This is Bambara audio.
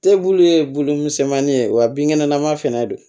Te bulu ye bulu misɛnmanin ye wa binkɛnɛlama fɛnɛ don